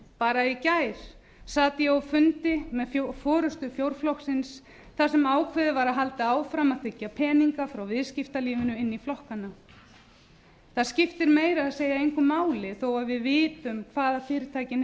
bara í gær sat ég á fundi með forustu fjórflokksins þar sem ákveðið var að halda áfram að þiggja peninga frá viðskiptalífinu inn í flokkana það skiptir meira að segja engu máli þó að við vitum hvað fyrirtækin